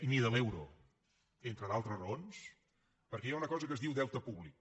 ni de l’euro entre d’altres raons perquè hi ha una cosa que es diu deute públic